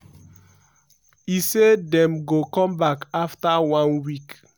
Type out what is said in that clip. e say dem go come back afta one week.